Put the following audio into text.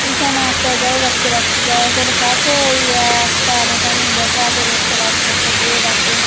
এইখানে একটা গ্যারেজ দেখতে পাচ্ছি গ্যারেজের কাছে এই একটা মেকানিক বসে আছে দেখতে পাচ্ছি একটা লোক আছে।